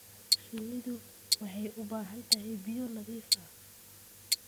Shinnidu waxay u baahan tahay biyo nadiif ah.